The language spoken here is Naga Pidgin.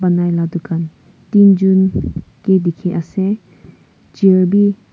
banai laga dukan tinjun vi dekhi ase chair--